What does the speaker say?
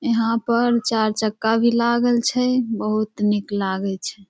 यहाँ पर चार चक्का भी लागल छै बहुत निक लागे छै।